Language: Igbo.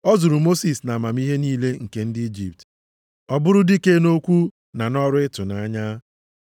A zụrụ Mosis nʼamamihe niile nke ndị Ijipt, ọ bụrụ dike nʼokwu na nʼọrụ ịtụnanya.